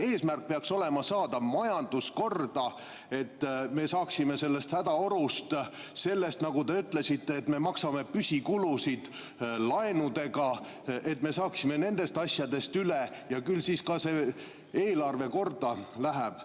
Eesmärk peaks olema saada majandus korda, et me saaksime sellest hädaorust üle – sellest, nagu te ütlesite, et me maksame püsikulusid laenudega –, et me saaksime nendest asjadest üle, küll siis ka eelarve korda läheb.